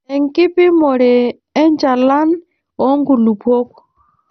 Enkipimore enchalan oo nkulupuok.